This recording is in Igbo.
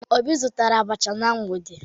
Obi zụtara abacha na mgbede